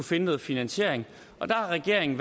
finde noget finansiering og der har regeringen